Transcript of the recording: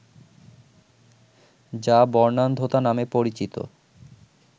যা বর্ণান্ধতা নামে পরিচিত